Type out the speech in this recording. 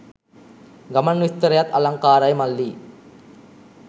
ගමන් විස්තරයත් අලංකාරයි මල්ලි.